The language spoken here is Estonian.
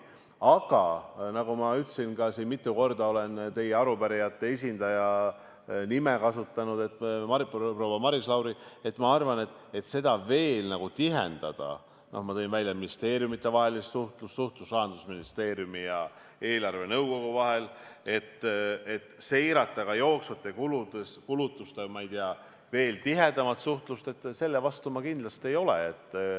Aga nagu ma ütlesin ka siin – mitu korda olen teie kui arupärijate esindaja nime kasutanud, proua Maris Lauri –, et kui seda veel tihendada , et seirata ka jooksvaid kulutusi, siis selle vastu ma kindlasti ei ole.